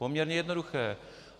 Poměrně jednoduché.